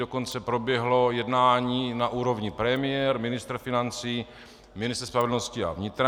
Dokonce proběhlo jednání na úrovni premiér, ministr financí, ministr spravedlnosti a vnitra.